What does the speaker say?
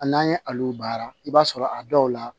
A n'an ye ale baara i b'a sɔrɔ a dɔw la